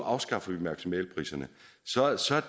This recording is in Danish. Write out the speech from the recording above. afskaffe maksimalpriserne